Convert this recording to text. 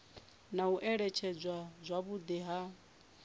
na u alutshedzwa zwavhudi ha